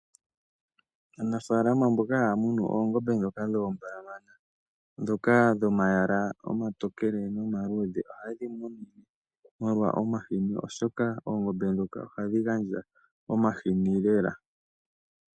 Aanafalama mboka haya munu oongombe ndhoka dhoombalamana ndhoka dhomayala omatokele nomaludhe oha ye dhi munu omolwa omahini oshoka oongombe ndhoka oha dhi gandja omahini lela.